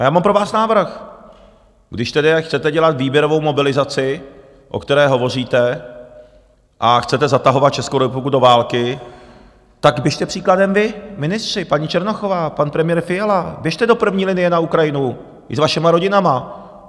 A já mám pro vás návrh, když tedy chcete dělat výběrovou mobilizaci, o které hovoříte, a chcete zatahovat Českou republiku do války, tak běžte příkladem vy ministři, paní Černochová, pan premiér Fiala, běžte do první linie na Ukrajinu i s vašimi rodinami.